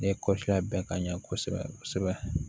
Ne kɔlila bɛɛ ka ɲɛ kosɛbɛ